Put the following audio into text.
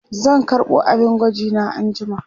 zan karɓo abin gwaji na anjima